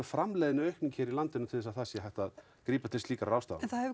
framleiðni aukning í landinu til þess að það sé hægt að grípa til slíkra ráðstafanna það hefur